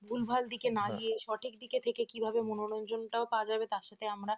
ভুলভাল দিকে না গিয়ে সঠিক দিকে থেকে কিভাবে মনোরঞ্জনটাও পাওয়া যাবে তার সাথে আমরা